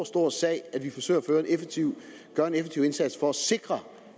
stor sag at vi forsøger at gøre en effektiv indsats for at sikre